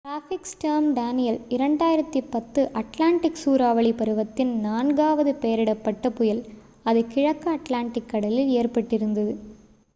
traffic storm Danielle 2010 Atlantic சூறாவளி பருவத்தின் நான்காவது பெயரிடப்பட்ட புயல் அது கிழக்கு அட்லாண்டிக் கடலில் ஏற்பட்டு இருந்தது